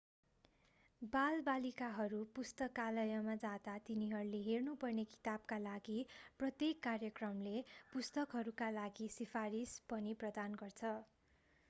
बालबालिकाहरू पुस्तकालयमा जाँदा तिनीहरूले हेर्नु पर्ने किताबका लागि प्रत्येक कार्यक्रमले पुस्तकहरूका लागि सिफारिस पनि प्रदान गर्छ